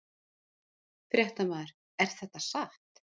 Fréttamaður: Er þetta satt?